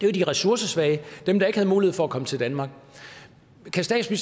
jo de ressourcesvage dem der ikke havde mulighed for at komme til danmark kan